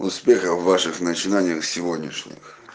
успехов в ваших начинаниях сегодняшних